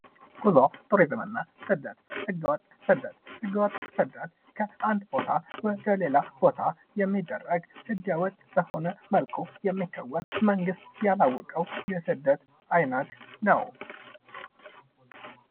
ጉዞ፣ ቱሪዝምና ስደት፦ ህገወጥ ስደት፦ ህገወጥ ስደት ከአንድ ቦታ ወደ ሌላ ቦታ የሚደረግ ህገወጥ በሆነ መልኩ የሚከወን መንግስት ያላወቀው የስደት አይነት ነው።